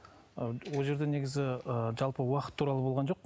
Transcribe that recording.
ы ол жерде негізі ы жалпы уақыт туралы болған жоқ